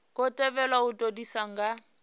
khou thivhelwa u todisisa nga